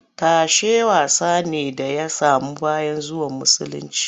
Tashe wasa ne da ya samu bayan zuwan musulunci